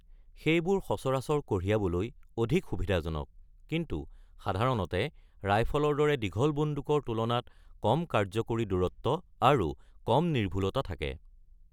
সেইবোৰ সচৰাচৰ কঢ়িয়াবলৈ অধিক সুবিধাজনক, কিন্তু সাধাৰণতে ৰাইফলৰ দৰে দীঘল বন্দুকৰ তুলনাত কম কাৰ্যকৰী দূৰত্ব আৰু কম নিৰ্ভূলতা থাকে।